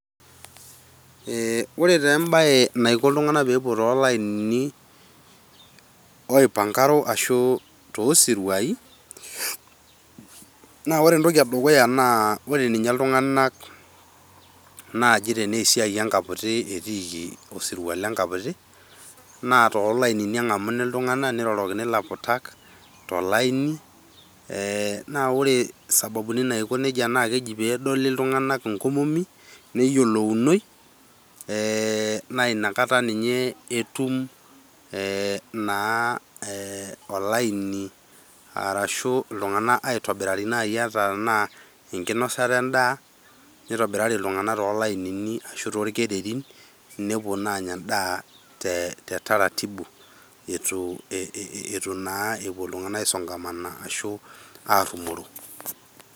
Eh ore tee embae naiko iltunganak pepuo toolainini oipankaro ashu toosiruai naa ore entoki edukuya naa ore ninye iltunganak naji tenaa enkaputi etiiki , osirua le nkaputi naa toolainini engamuni iltunganak , nirorokini ilaputak tolaini eeh. Naa ore isababuni naiko nejia naa keji pedoli iltunganak inkomomi , neyiolounoi ee naa ina kata ninye naa e olaini arashu iltunganak aitobirari ata tenaa enkinosata endaa nitobirari iltunganak too lainini ashu torkererin nepuo naa anya endaa tetaratimu eitu naa epuo iltunganak aisongamana ashu arumoro.